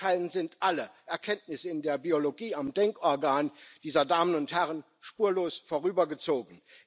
Anscheinend sind alle Erkenntnisse der Biologie am Denkorgan dieser Damen und Herren spurlos vorübergezogen.